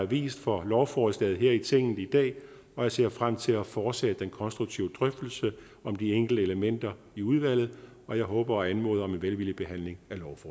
vist for lovforslaget her i tinget i dag og jeg ser frem til at fortsætte den konstruktive drøftelse om de enkelte elementer i udvalget og jeg håber på og anmoder om en velvillig behandling